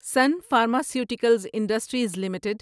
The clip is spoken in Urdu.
sun pharmaceuticals industries limited